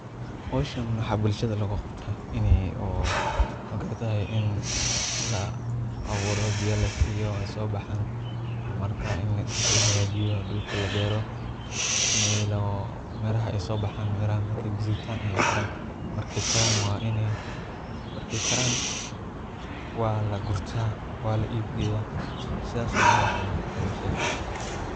Howshan waxa bulshada loo qabtaa in oo magaratay in la abuuro biyo lasiiiyo sobaxan marka dhulka lahagajiyo dhulka la beero miraha ey sobaxan miraha markey gadutan ayey kara markey karan waa lagurtaa wana la ibyeyaa sidas ayaa howshan loo qabtaaa bulshada.